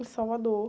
Em Salvador.